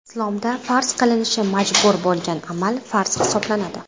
Islomda farz qilinishi majbur bo‘lgan amal hisoblanadi.